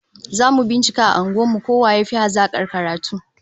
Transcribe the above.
Zamu bincika a unguwar mu ko waye yafi hazakar karatu